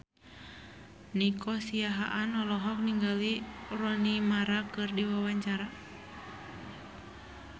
Nico Siahaan olohok ningali Rooney Mara keur diwawancara